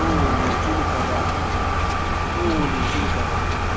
oo lentswe le ka bang